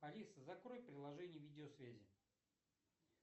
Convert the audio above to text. алиса закрой приложение видеосвязи